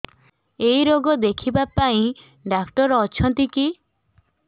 ଏଇ ରୋଗ ଦେଖିବା ପାଇଁ ଡ଼ାକ୍ତର ଅଛନ୍ତି କି